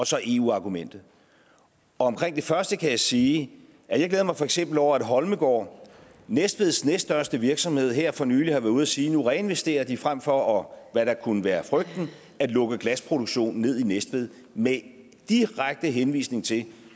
så eu argumentet omkring det første kan jeg sige at jeg for eksempel over at holmegaard næstveds næststørste virksomhed her for nylig har været ude at sige at nu reinvesterer de frem for hvad der kunne være frygten at lukke glasproduktionen ned i næstved med direkte henvisning til